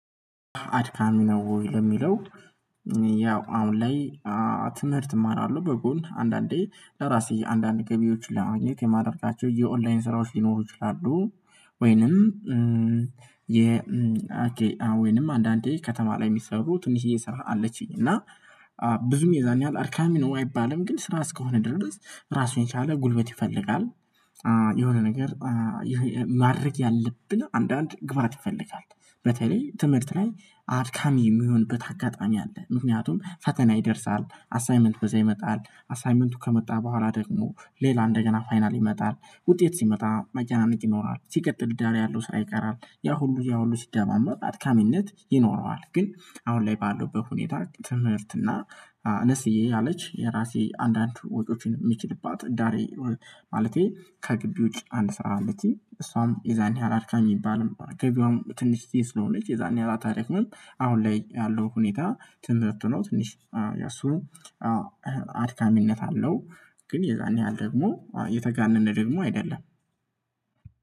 አድካሚ ነው ወይ? ለሚለው ያው አሁን ላይ ትምህርት እማራለሁ በጎን አንዳንዴ ለራሴ የአንዳንድ ገቢዎች ለማድረግ የማድረግ የኦንላይን ስራዎች ሊኖሩ ይችላሉ። ወይንም። ወይም አንዳንዴ ከተማ ላይ የሚሰሩ ትንሽዬ ስራ አለችኝ እና ብዙም የዛኔ ያህል አርካሚ ነው አይባልም ግን ስራ እስከሆነ ድረስ ራሱን ቻለ ጉልበት ይፈልጋል። የሆነ ነገር ማድረግ ያለብን አንዳንድ ግባት ይፈልጋል በተለይ ትምህርት ላይ አድካሚ የሚሆንበት አጋጣሚ አለ። ምክንያቱም ፈተና ይደርሳል አሳይመንት በዛ ይመጣል አሳይመንቱ ከመጣ በኋላ ደግሞ ሌላ እንደገና ፋይናል ይመጣል። ውጤት ሲመጣ መጨናነቅ ይኖራል ሲቀጥል ዳር ያለው ስራ ይቀራል ያ ሁሉ ያ ሁሉ ሲደማመጥ አድካሚነት ይኖረዋል። ግን አሁን ላይ ባለሁበት በሁኔታ ትምህርት እና አነስዬ ያለች የራሴ አንዳንድ ወጭዎችን የሚችልባት ዳሬ ማለቴ ከግቢ ውጭ አንድ ስራ አለችኝ እሷም የዛን ያህል አድካሚ የሚባልም ገቢዋም ትንሽ ስለሆነች የዛን ያህል ታሪክ ነው። አሁን ላይ ያለው ሁኔታ ትምህርት ነው። ትንሽ ያሱ አዎ አድካሚነት አለው። ግን የዛኔ ያህል ደግሞ የተጋነነ ደግሞ አይደለም።